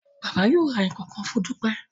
Baba yóò rà nkankan fún Dupe